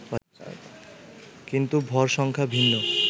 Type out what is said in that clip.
কিন্তু ভর সংখ্যা ভিন্ন